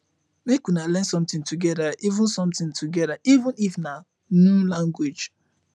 mek una learn somtin togeda even somtin togeda even if na nu language